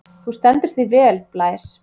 Þú stendur þig vel, Blær!